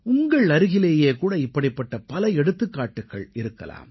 உங்கள் அருகிலேயே கூட இப்படிப்பட்ட பல எடுத்துக்காட்டுகள் இருக்கலாம்